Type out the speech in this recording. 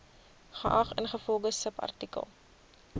geag ingevolge subartikel